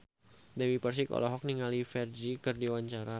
Dewi Persik olohok ningali Ferdge keur diwawancara